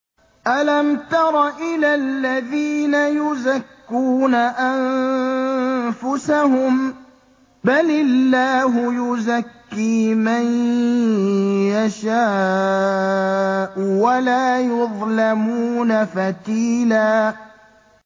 أَلَمْ تَرَ إِلَى الَّذِينَ يُزَكُّونَ أَنفُسَهُم ۚ بَلِ اللَّهُ يُزَكِّي مَن يَشَاءُ وَلَا يُظْلَمُونَ فَتِيلًا